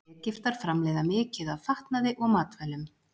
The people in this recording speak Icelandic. Egyptar framleiða mikið af fatnaði og matvælum.